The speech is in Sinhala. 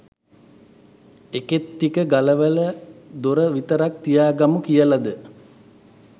එකේත්ටික ගලවල දොර විතරක් තිය ගමු කියලද?